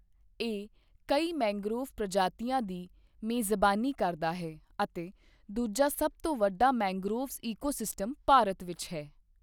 ਇਹ ਕਈ ਮੈਂਗ੍ਰੋਵ ਪ੍ਰਜਾਤੀਆਂ ਦੀ ਮੇਜ਼ਬਾਨੀ ਕਰਦਾ ਹੈ ਅਤੇ ਦੂਜਾ ਸਭ ਤੋਂ ਵੱਡਾ ਮੈਂਗ੍ਰੋਵ ਈਕੋਸਿਸਟਮ ਭਾਰਤ ਵਿੱਚ ਹੈ।